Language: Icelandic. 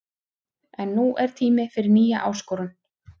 En nú er tími fyrir nýja áskorun.